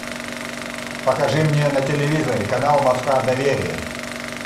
покажи мне на телевизоре канал москва доверие